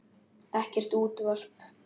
Ekkert útvarp.